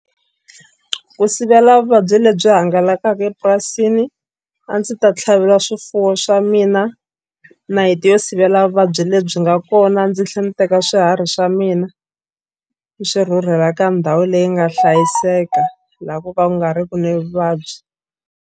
Ku sivela vuvabyi lebyi hangalakaka epurasini a ndzi ta tlhavela swifuwo swa mina nayiti yo sivela vuvabyi lebyi nga kona ndzi tlhela ndzi teka swiharhi swa mina ni swi rhurhela ka ndhawu leyi nga hlayiseka laha ko ka ku nga ri ki ni vuvabyi.